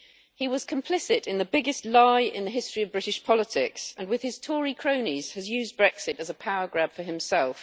He was complicit in the biggest lie in the history of British politics and, with his Tory cronies, he has used Brexit as a power grab for himself.